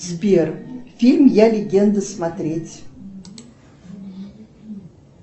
сбер фильм я легенда смотреть